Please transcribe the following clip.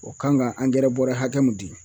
O kan ka angɛrɛ bɔrɛ hakɛ mun di